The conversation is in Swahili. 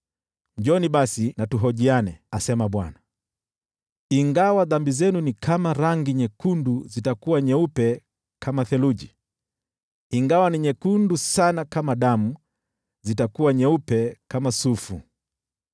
“Njooni basi tuhojiane,” asema Bwana . “Ingawa dhambi zenu ni kama rangi nyekundu, zitakuwa nyeupe kama theluji; ingawa ni nyekundu sana kama damu, zitakuwa nyeupe kama sufu.